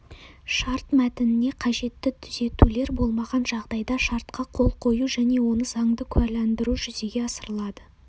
шарт мәтініне қажетті түзетулер болмаған жағдайда шартқа қол қою және оны заңды куәландыру жүзеге асырылады